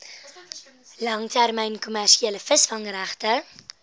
langtermyn kommersiële visvangregte